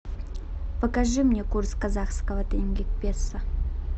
покажи мне курс казахского тенге к песо